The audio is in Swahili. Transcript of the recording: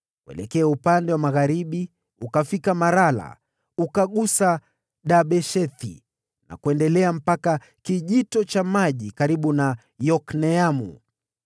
Kuelekea upande wa magharibi ukafika Marala, ukagusa Dabeshethi, na kuendelea mpaka kwenye bonde karibu na Yokneamu.